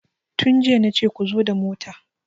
Tun jiya nace ku zo da mota!